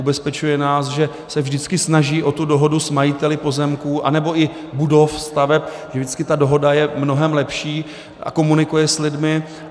Ubezpečuje nás, že se vždycky snaží o tu dohodu s majiteli pozemků anebo i budov, staveb, že vždycky ta dohoda je mnohem lepší, a komunikuje s lidmi.